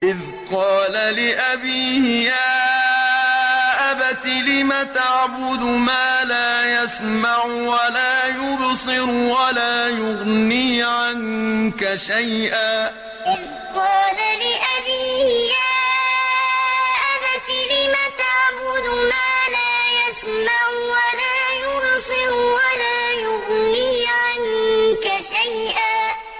إِذْ قَالَ لِأَبِيهِ يَا أَبَتِ لِمَ تَعْبُدُ مَا لَا يَسْمَعُ وَلَا يُبْصِرُ وَلَا يُغْنِي عَنكَ شَيْئًا إِذْ قَالَ لِأَبِيهِ يَا أَبَتِ لِمَ تَعْبُدُ مَا لَا يَسْمَعُ وَلَا يُبْصِرُ وَلَا يُغْنِي عَنكَ شَيْئًا